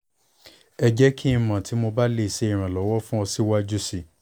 ẹ jẹ ki n mọ ti mo ba le ṣe iranlọwọ fun ọ siwaju sii